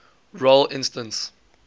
role instance